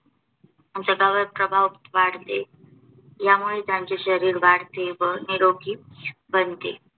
जगावर प्रभाव पडते यामुळे त्यांचे शरीर वाढते व निरोगी बनते.